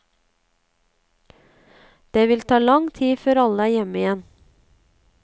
Det vil ta lang tid før alle er hjemme igjen.